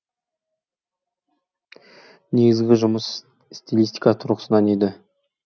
негізгі жұмыс стилистика тұрғысынан еді